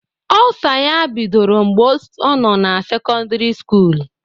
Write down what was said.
Ọlsa ya bidoro mgbe ọ no na sekọndari skụụl.